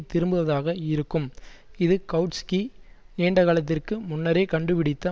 திரும்புவதாக இருக்கும் இது கவுட்ஸ்கி நீண்டகாலத்திற்கு முன்னரே கண்டுபிடித்த